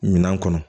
Minan kɔnɔ